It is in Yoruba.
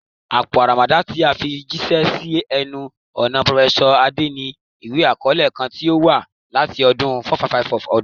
Apo aramada ti a fi jiṣẹ si ẹnu-ọna Prof Ade ni iwe-akọọlẹ kan ti o wa lati ọdun 455 ọdun.